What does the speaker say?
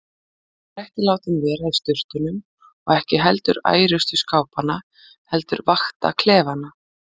Hann var ekki látinn vera í sturtunum og ekki heldur ærustu skápanna heldur vakta klefana.